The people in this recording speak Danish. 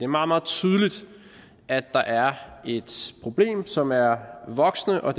meget meget tydeligt at der er et problem som er voksende og